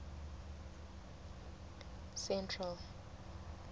central